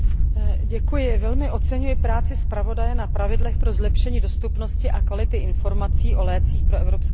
Velmi oceňuji práci zpravodaje na pravidlech pro zlepšení dostupnosti a kvality informací o lécích pro evropské pacienty.